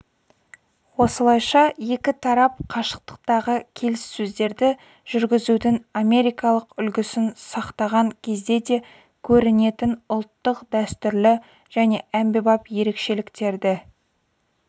осылайша екі тарап қашықтықтағы келіссөздерді жүргізудің америкалық үлгісін сақтаған кезде де көрінетін ұлттық-дәстүрлі және әмбебап ерекшеліктерді